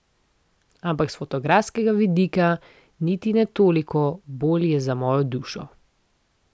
Ampak s fotografskega vidika niti ne toliko, bolj je za mojo dušo.